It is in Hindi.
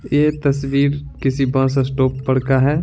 ये तस्वीर किसी बस स्टॉप पर का है।